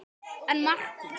En Markús